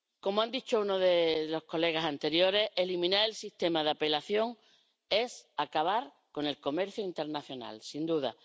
Como ha dicho uno de los colegas anteriores, eliminar el sistema de apelación es acabar con el comercio internacional, sin duda.